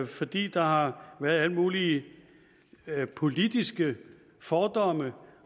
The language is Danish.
fordi der har været alle mulige politiske fordomme